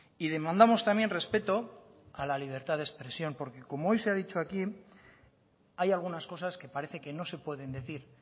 y demandamos también respeto a la libertad de expresión porque como hoy se ha dicho aquí hay algunas cosas que parece que no se pueden decir